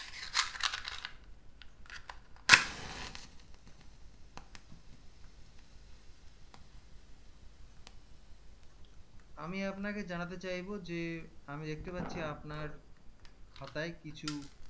আমি আপনাকে জানাতে চাইবো যে আমি দেখতে পাচ্ছি আপনার খাতায় কিছু